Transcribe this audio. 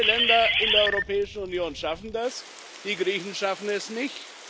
Alle Länder in der Europäischen Union schaffen das, die Griechen schaffen es nicht.